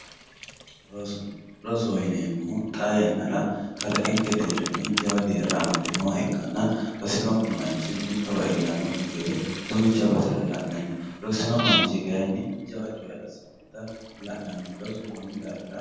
Roso rosoho yineemo woyite xaa yanara kalqenke deerini lowo horo aanoha ikana manchi beetira egenote buicho yine woshinaniri giddo mittu rosoho yine woshinani